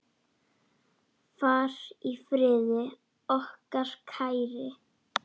Far í friði, okkar kæri.